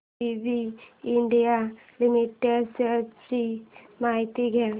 ABB India limited shares ची माहिती द्या